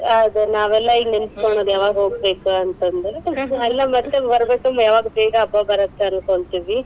ಅದೇ ನಾವೆಲ್ಲ ಈಗ ನೆನಸ್ಕೋಳೋದ್, ಯಾವಾಗ್ ಹೋಗ್ಬೇಕಂತಂದ. ಅಲ್ಲಾ ಮತ್ತೇ ಯಾವಾಗ ಬೇಗ ಹಬ್ಬಾ ಬರತ್ತ ಅನ್ಕೋಂತೆವಿ.